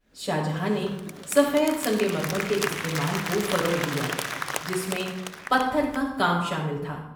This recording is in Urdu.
شاہ جہاں نے سفید سنگ مرمر کے استعمال کو فروغ دیا جس میں پتھر کا کام شامل تھا۔